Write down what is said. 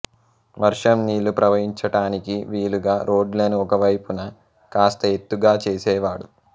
వర్షం నీళ్ళు ప్రవహించటానికి వీలుగా రోడ్లను ఒకవైపున కాస్త ఎత్తుగా చేసేవాడు